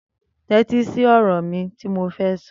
Tẹ̀tí si ọrọ ti mó fẹ sọ